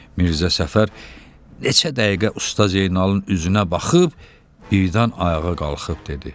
Mirzə Səfər neçə dəqiqə Usta Zeynalın üzünə baxıb birdən ayağa qalxıb dedi: